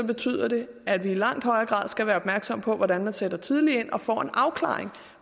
betyder det at vi i langt højere grad skal være opmærksomme på hvordan man sætter tidligt ind og får en afklaring